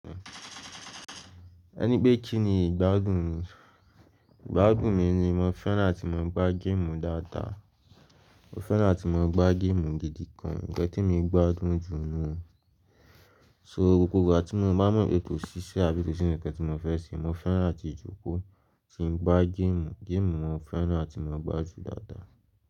Ẹni pé kí ni ìgbádùn mi? Ìgbádùn mi ni mo fẹ́ràn tí mo ba n gym dáadáa. Mo fẹ́ràn tí mo ń gbá game gidi gan. Ǹkan tí emi gbádùn jù nùu. So gbogbo ìgbà tí mo bá mọ̀ pé kò ṣiṣẹ́ àbí kò sí ǹkan tí mo fẹ́ ṣe, mo fẹ́ràn àti jókòó tí ń gbá game. Game mo fẹ́ràn àti mo ń gbá jù dáadáa.